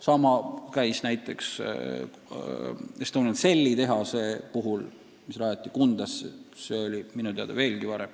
Samamoodi oli näiteks Estonian Celli tehasega, mis rajati Kundasse.